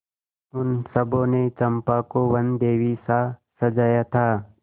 उन सबों ने चंपा को वनदेवीसा सजाया था